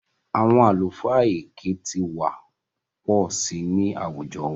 Àwọn àlùfáà èké ti wà pọ̀ sí i ní àwùjọ wa